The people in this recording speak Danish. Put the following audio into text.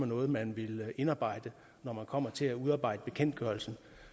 noget man ville indarbejde når man kom til at skulle udarbejde bekendtgørelsen